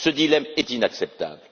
Ce dilemme est inacceptable.